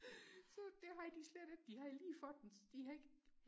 så det havde de slet ikke de havde lige fået den de havde ikke